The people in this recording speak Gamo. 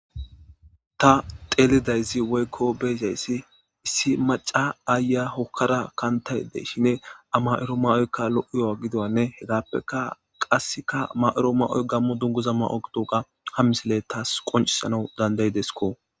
Ta beyshe woyikko xelashshe dizay issi ayiya mayada diza mayozi kehippe lo"izanne hagappekka iza mayida mayoyikka gammo dunguza gidizayissa qonccisidi besses